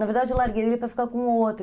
Na verdade, eu larguei dele para ficar com outro.